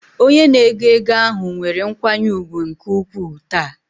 Onye na-ego ego ahụ nwere nkwanye ùgwù nke ukwuu taa.